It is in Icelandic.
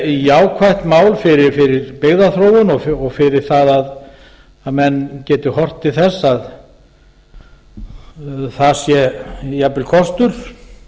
jákvætt mál fyrir byggðaþróun og fyrir það að menn geti horft til þess að það sá jafnvel kostur